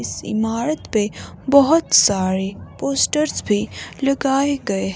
इस इमारत पे बहुत सारे पोस्टर्स भी लगाए गए --